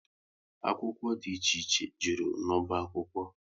Akwụkwọ dị iche iche jụrụ n'ọba akwụkwọ